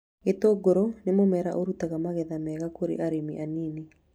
Gĩtũngũrũ nĩ mũmera ũrutaga magetha mega kũrĩ arĩmi anini